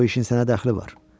O işin sənə dəxli var.